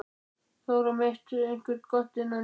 Þór á mitt og eitthvað gott innan í.